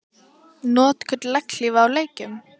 Notkun legghlífa í leikjum?